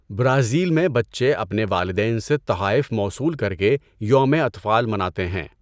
Brazil میں، بچے اپنے والدین سے تحائف موصول کر کے یوم اطفال مناتے ہیں۔